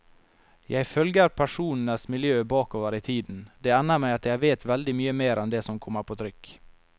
Jeg følger personenes miljø bakover i tiden, det ender med at jeg vet veldig mye mer enn det som kommer på trykk.